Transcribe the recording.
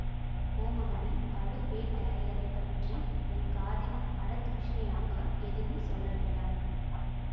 கோமகனே பழுவேட்டரையரை பற்றி என் காதில் பட தூஷணையாக எதுவும் சொல்ல வேண்டாம்